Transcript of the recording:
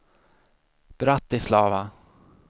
Bratislava